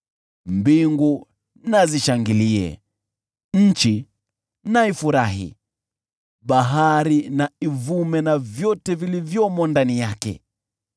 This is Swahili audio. Mbingu na zishangilie, nchi na ifurahi; bahari na ivume, na vyote vilivyomo ndani yake;